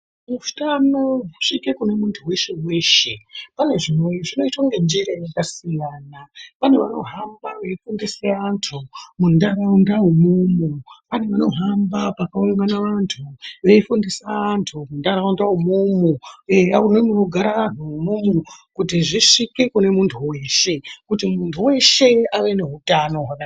Utano husvike kune muntu weshe-weshe, pane zvino, zvinoitwa ngenjira yakasiyana. Pane vanohamba veifundise antu muntaraunda umwomwo. Pane vanohamba pakaungana vantu, veifundisa antu muntaraunda umwomwo. Eya nemunogara anhu umwomwo, kuti zvisvike kune muntu weshe. Kuti muntu weshe ave neutano hwakanaka.